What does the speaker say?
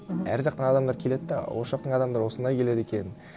мхм әр жақтан адамдар келеді де осы жақтың адамдары осында келеді екен